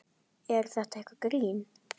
Er þetta eitthvað grín?